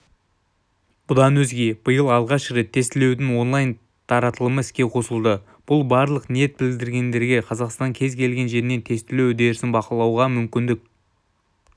бұдан өзге биыл алғаш рет тестілеудің онлайн-таратылымы іске қосылды бұл барлық ниет білдіргендерге қазақстанның кез келген жерінен тестілеу үдерісін бақылауға мүмкіндік